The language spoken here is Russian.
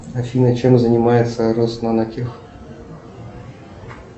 афина чем занимается роснанотех